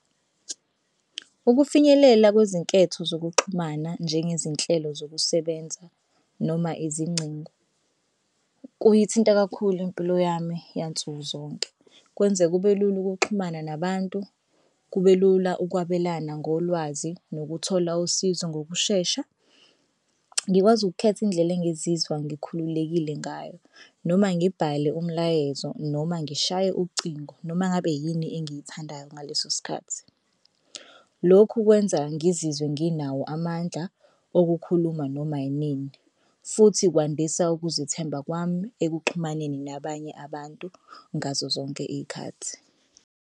Ukufinyelela kwezinketho zokuxhumana njengezinhlelo zokusebenza noma izingcingo kuyithinta kakhulu impilo yami yansuku zonke. Kwenze kube lula ukuxhumana nabantu, kube lula ukwabelana ngolwazi nokuthola usizo ngokushesha. Ngikwazi ukukhetha indlela engizizwa ngikhululekile ngayo noma ngibhale umlayezo noma ngishaye ucingo noma ngabe yini engiyithandayo ngaleso sikhathi. Lokhu kwenza ngizizwe nginawo amandla okukhuluma noma inini futhi kwandisa ukuzethemba kwami ekuxhumaneni nabanye abantu ngazo zonke iy'khathi.